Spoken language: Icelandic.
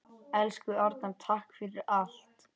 Elsku Arnar, takk fyrir allt.